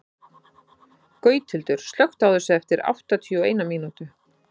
Gauthildur, slökktu á þessu eftir áttatíu og eina mínútur.